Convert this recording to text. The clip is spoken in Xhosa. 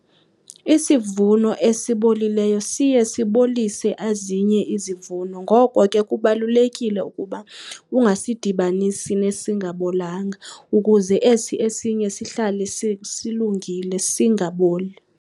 Isivuno esibolileyo siye sibolise ezinye izivuno, ngoko ke kubalulekile ukuba ungasidibanisi nesingabolanga ukuze esi esinye sihlale silungile singaboli.